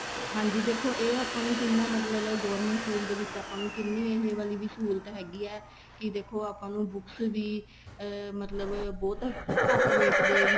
ਹਾਂਜੀ ਦੇਖੋ ਇਹ ਆਪਾਂ ਨੂੰ ਦੇਖੋ ਕਿੰਨਾ ਮਤਲਬ government school ਦੇ ਵਿੱਚ ਆਪਾਂ ਨੂੰ ਕਿੰਨੀ ਇਹ ਵਾਲੀ ਵੀ ਸਹੂਲਤ ਹੈਗੀ ਏ ਕੀ ਦੇਖੋ ਆਪਾਂ ਨੂੰ books ਵੀ ਅਹ ਮਤਲਬ ਬਹੁਤ ਘੱਟ rate ਦੇ ਵਿੱਚ